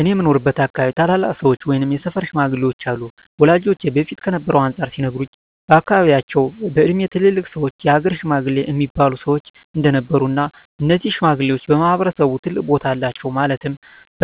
እኔ በምኖርበት አካባቢ ታላላቅ ሰዎች ወይም የሰፈር ሽማግሌዎች አሉ ወላጆቼ በፊት ከነበረው አንፃር ሲነግሩኝ በአካባቢያቸው በእድሜ ትላልቅ ሰዎች የሀገር ሽማግሌ እሚባሉ ሰዎች እንደነበሩ እና እነዚህ ሽማግሌዎች በማህበረሰቡ ትልቅ ቦታ አላቸው ማለትም